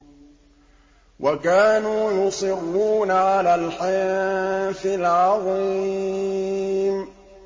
وَكَانُوا يُصِرُّونَ عَلَى الْحِنثِ الْعَظِيمِ